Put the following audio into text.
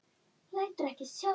Lætur ekki sjá sig.